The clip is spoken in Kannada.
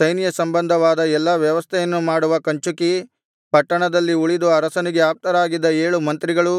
ಸೈನ್ಯಸಂಬಂಧವಾದ ಎಲ್ಲಾ ವ್ಯವಸ್ಥೆಯನ್ನು ಮಾಡುವ ಕಂಚುಕಿ ಪಟ್ಟಣದಲ್ಲಿ ಉಳಿದು ಅರಸನಿಗೆ ಆಪ್ತರಾಗಿದ್ದ ಏಳು ಮಂತ್ರಿಗಳು